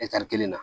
kelen na